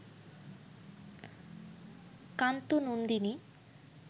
ক্লান্ত নন্দিনী